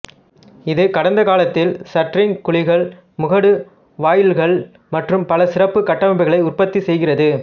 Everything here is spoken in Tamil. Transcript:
இது கடந்த காலத்தில் ஷட்டரிங் குழிகள் முகடு வாயில்கள் மற்றும் பல சிறப்பு கட்டமைப்புகளை உற்பத்தி செய்கிறது